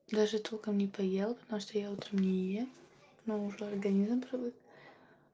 даже толком не поела потому что я утром не ем ну уже организм привык